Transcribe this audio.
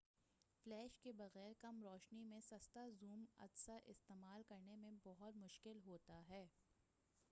flash کے بغیر کم روشنی میں سستا زوم عدسہ استعمال کرنے میں بہت مشکل ہوتا ہے